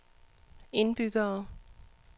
indbyggere